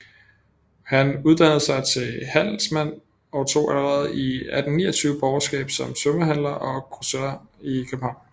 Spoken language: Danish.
Han uddannede sig til handelsmand og tog allerede 1829 borgerskab som tømmerhandler og grosserer i København